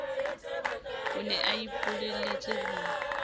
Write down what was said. o ne a ipolelletse ho